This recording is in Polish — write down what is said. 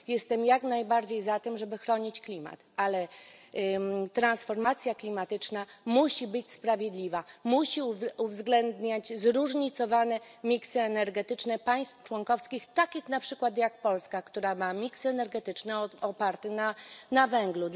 Jestem jak najbardziej za tym, żeby chronić klimat, ale transformacja klimatyczna musi być sprawiedliwa, musi uwzględniać zróżnicowane miks energetyczne państw członkowskich, takich na przykład jak Polska, która ma miks energetyczny oparty na węglu.